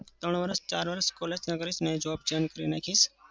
ત્રણ વરસ ચાર વરસ college ના કરીશ અને job change કરી નાખીશ.